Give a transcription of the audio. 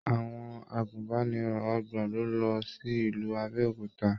Àwọn àgùnbánirọ̀ ọgbọn lo lọ sí ìlú Abéòkúta.